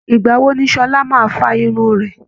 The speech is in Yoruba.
ìgbà wo ni Sọlá máa fa irun rẹ̀